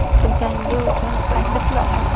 Jangi uchun qancha pul oladi?.